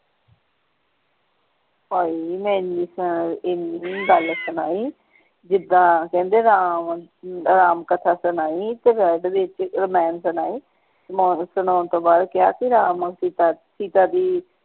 ਹਾਏ ਨੀ ਮੈਂ ਏਨੀ ਏਨੀ ਗੱਲ ਸੁਣਾਈ ਜਿਦਾਂ ਕਹਿੰਦੇ ਰਾਮ ਰਾਮ ਕਥਾ ਸੁਣਾਈ ਤੇ ਵਿੱਚ ਰਾਮਾਯਣ ਸੁਣਾਈ ਸੁਣਾਉਣ ਤੋਂ ਬਾਅਦ ਕਿਹਾ ਕਿ ਰਾਮ ਔਰ ਸੀਤਾ ਸੀਤਾ ਜੀ।